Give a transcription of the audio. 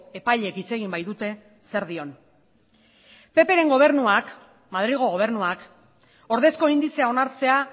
epaileek hitz egin baitute zer dion ppren gobernuak madrilgo gobernuak ordezko indizea onartzea